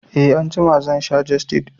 E, Anjima za sha jestid